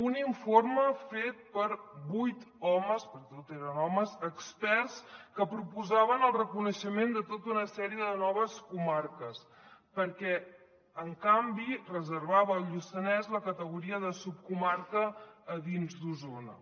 un informe fet per vuit homes perquè tots eren homes experts que proposaven el reconeixement de tota una sèrie de noves comarques que en canvi reservava al lluçanès la categoria de subcomarca dins d’osona